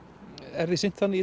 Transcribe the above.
er því sinnt þannig í